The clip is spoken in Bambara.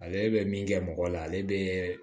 Ale bɛ min kɛ mɔgɔ la ale bɛ